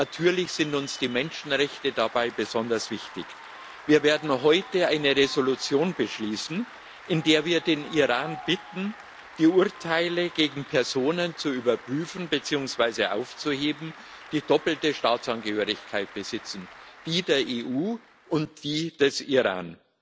Natürlich sind uns die Menschenrechte dabei besonders wichtig. Wir werden heute eine Entschließung beschließen, in der wir den Iran bitten, die Urteile gegen Personen zu überprüfen beziehungsweise aufzuheben, die die doppelte Staatsangehörigkeit besitzen die der EU und die des Iran.